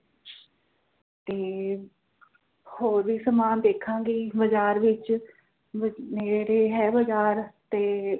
ਤੇ ਹੋਰ ਵੀ ਸਾਮਾਨ ਦੇਖਾਂਗੇ ਬਾਜ਼ਾਰ ਵਿੱਚ ਨੇੜੇ ਹੈ ਬਾਜ਼ਾਰ ਤੇ